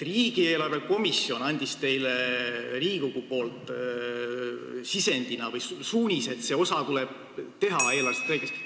Riigieelarve kontrolli komisjon andis teile Riigikogu poolt suunise, et see osa tuleb eelarvestrateegiasse kirjutada.